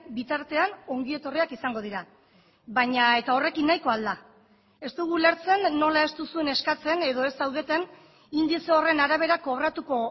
bitartean ongi etorriak izango dira baina eta horrekin nahikoa al da ez dugu ulertzen nola ez duzuen eskatzen edo ez zaudeten indize horren arabera kobratuko